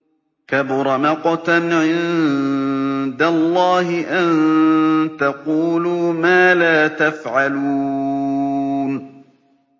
كَبُرَ مَقْتًا عِندَ اللَّهِ أَن تَقُولُوا مَا لَا تَفْعَلُونَ